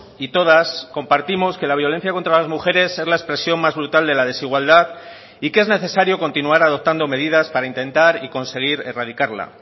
y todas compartimos que la violencia contra las mujeres es la expresión más brutal de la desigualdad y que es necesario continuar adoptando medidas para intentar y conseguir erradicarla